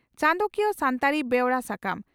ᱪᱟᱸᱫᱚᱠᱤᱭᱟᱹ ᱥᱟᱱᱛᱟᱲᱤ ᱵᱮᱣᱨᱟ ᱥᱟᱠᱟᱢ